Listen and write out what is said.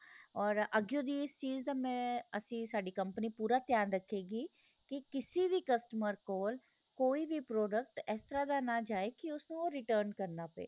ਔਰ ਅਗਿਓ ਦੀ ਏਸ ਚੀਜ ਦਾ ਮੈ ਅਸੀਂ ਸਾਡੀ ਕੰਪਨੀ ਪੂਰਾ ਧਿਆਨ ਰੱਖ਼ੇ ਗਈ ਕਿ ਕਿਸੇ ਵੀ customer ਕੋਲ ਕੋਈ ਵੀ product ਇਸ ਤਰਾ ਦਾ ਨਾ ਜਾਹੇ ਕਿ ਉਸ ਨੂੰ ਉਹ return ਕਰਨਾ ਪਹੇ